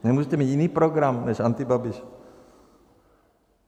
Nemůžete mít jiný program než antibabiš?